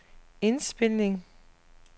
indspilning